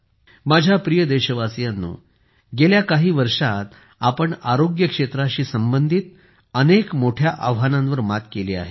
माझ्या प्रिय देशवासियांनो गेल्या काही वर्षांत आपण आरोग्य क्षेत्राशी संबंधित अनेक मोठ्या आव्हानांवर मात केली आहे